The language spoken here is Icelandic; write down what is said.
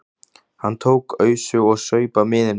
Hann tók ausu og saup af miðinum.